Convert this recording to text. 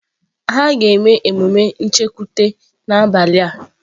Ha ga-eme emume nchekwute n'abalị a